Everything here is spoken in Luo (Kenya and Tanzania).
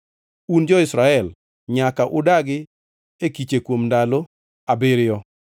Un jo-Israel nyaka udagi e kiche kuom ndalo abiriyo,